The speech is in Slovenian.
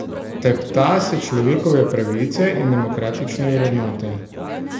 Tepta se človekove pravice in demokratične vrednote.